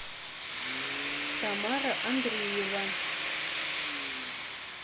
тамара андреева